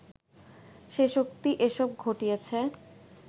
সে শক্তি এসব ঘটিয়েছে